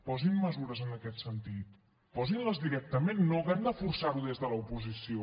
posin mesures en aquest sentit posin les directament que no hàgim de forçar ho des de l’oposició